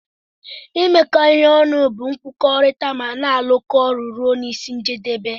imekọ ihe ọnụ bu nkwukọrita mana alụkọ ọlụ ọnụ rụọ n'isi njedebe.